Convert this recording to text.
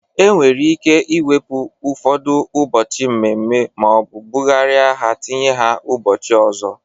E nwere ike iwepu ụfọdụ ụbọchị mmemme maọbụ bụgarịa ha tinye ha ụbọchị ọzọ.